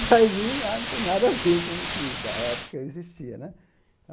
Drive-in lá não tem nada a ver com o que na época existia né.